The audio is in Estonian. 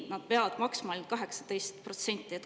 Nad peavad maksma ainult 18%.